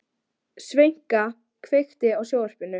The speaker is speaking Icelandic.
Sveina, kveiktu á sjónvarpinu.